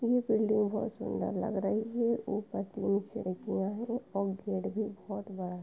ये बिल्डिंग बोहोत सुंदर लग रही है। ऊपर तीन खिड़कियां हैं और गेट भी बोहोत बड़ा --